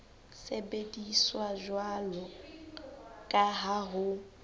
sebediswa jwalo ka ha ho